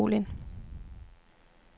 Kolind